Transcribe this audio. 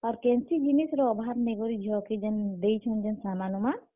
ଆର୍ କେନ୍ ସି ଜିନିଷ ର ଅଭାବ୍ ନିଁ ଝିଅ କେ ଯେନ୍ ଦେଇଛୁଁ ସାମାନ୍ ବାମାନ୍।